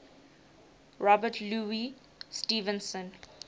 robert louis stevenson